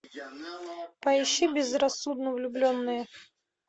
поищи безрассудно влюбленные